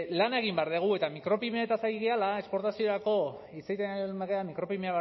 lan egin behar dugu eta micropymeetaz ari garela esportaziorako hitz egiten ari garenean micropymeak